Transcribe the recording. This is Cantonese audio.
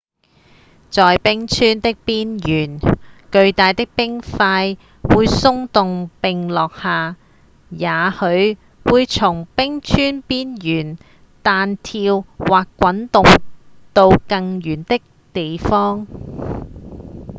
在冰川的邊緣巨大的冰塊會鬆動並落下也許會從冰川邊緣彈跳或滾動到更遠的地方